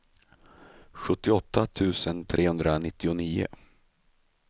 sjuttioåtta tusen trehundranittionio